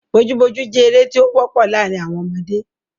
Bojú bojú jẹ́ eré tí ó wọ́pọ̀ láàrín àwọn ọmọdé.